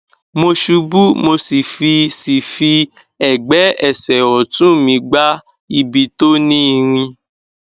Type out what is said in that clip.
mo ṣubú mo sì fi sì fi ẹgbẹ ẹsẹ ọtún mi gbá ibi tó ní irin